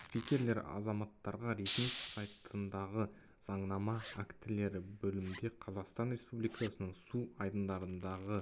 спикерлер азаматтарға ресми сайтындағы заңнама актілері бөлімінде қазақстан ресубликасының су айдындардағы